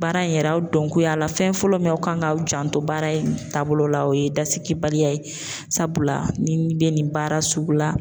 Baara in yɛrɛ a dɔnko y'a la fɛn fɔlɔ min aw kan k'aw janto baara in taabolo la, o ye dasigibaliya ye, sabula ni bɛ nin baara sugu la.